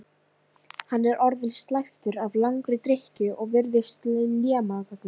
Hann er orðinn slæptur af langri drykkju og virðist lémagna.